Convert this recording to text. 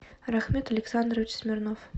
рахмет александрович смирнов